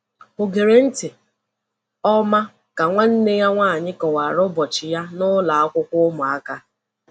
O gere ntị nke ọma ka nwanne ya nwanyị kọwara ụbọchị ya n’ụlọ akwụkwọ ụmụaka.